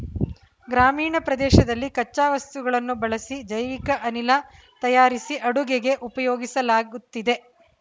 ಗ್ರಾಮೀಣ ಪ್ರದೇಶದಲ್ಲಿ ಕಚ್ಚಾ ವಸ್ತುಗಳನ್ನು ಬಳಸಿ ಜೈವಿಕ ಅನಿಲ ತಯಾರಿಸಿ ಅಡುಗೆಗೆ ಉಪಯೋಗಿಸಲಾಗುತ್ತಿದೆ